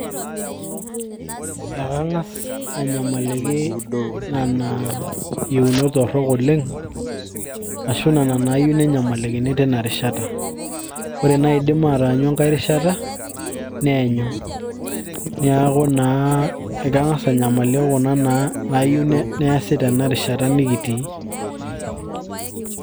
ee kang'as anyamaliki nena yieunot torrok oleng ashu nena naayieu nenyamalikini tina rishata ore naidim ataanyu enkay rishata neenyu niaku naa ekang'as anyamaliki naa kuna nayieu neasi tena rishata nikitii.